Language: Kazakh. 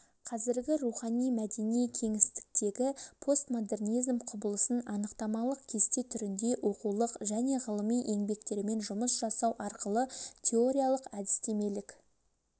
қазіргі рухани-мәдени кеңістіктегі постмодернизм құбылысын анықтамалық кесте түрінде оқулық және ғылыми еңбектермен жұмыс жасау арқылы теориялық-әдістемелік